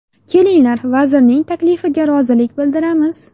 Kelinglar, vazirning taklifiga rozilik bildiramiz”.